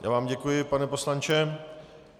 Já vám děkuji, pane poslanče.